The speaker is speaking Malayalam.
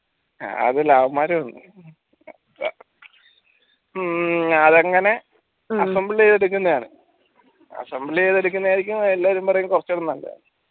അത് ലവമ്മാര് ഉം അതങ്ങനെ assemble ചെയ്ത് എടുക്കുന്നെയാണ് assemble ചെയ്ത് എടുക്കുന്നെ ആയിരിക്കും എല്ലാരും പറീന്ന കൊറച്ചൂടി നല്ലത്